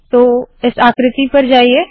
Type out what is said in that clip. तो इस आकृति पर जाइए